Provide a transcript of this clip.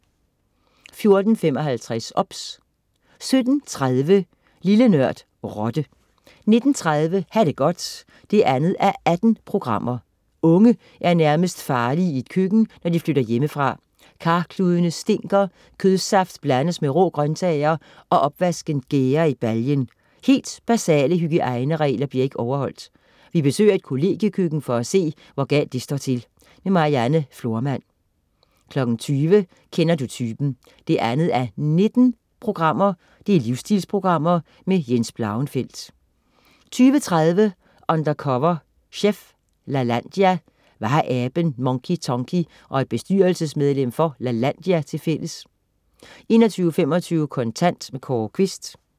14.55 OBS 17.30 Lille Nørd. Rotte 19.30 Ha' det godt 2:18. Unge er nærmest farlige i et køkken, når de flytter hjemmefra. Karkludene stinker, kødsaft blandes med rå grøntsager og opvasken gærer i baljen. Helt basale hygiejneregler bliver ikke overholdt. Vi besøger et kollegiekøkken for at se, hvor galt det står til. Marianne Florman 20.00 Kender du typen 2:19. Livsstilsprogram. Jens Blauenfeldt 20.30 Undercover chef. Lalandia. Hvad har aben Monkey Tonky og et bestyrelsesmedlem for Lalandia tilfælles? 21.25 Kontant. Kåre Quist